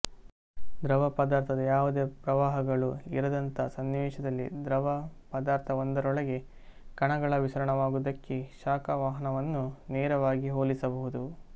ದ್ರವ ಪದಾರ್ಥದ ಯಾವುದೇ ಪ್ರವಾಹಗಳು ಇರದಂಥ ಸನ್ನಿವೇಶದಲ್ಲಿ ದ್ರವ ಪದಾರ್ಥವೊಂದರೊಳಗೆ ಕಣಗಳ ವಿಸರಣವಾಗುವುದಕ್ಕೆ ಶಾಖ ವಹನವನ್ನು ನೇರವಾಗಿ ಹೋಲಿಸಬಹುದು